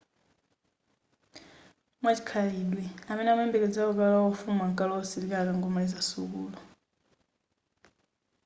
mwachikhalidwe amene amayembekezela kukalowa ufumu ankalowa usilikali akangomaliza sukulu